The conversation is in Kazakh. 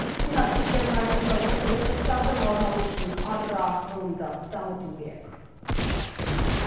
сенат спикерінің айтуынша осы олқылықтардың алдын алу үшін агроғылымды дамыту керек